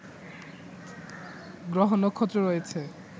গ্রহ নক্ষত্র রয়েছে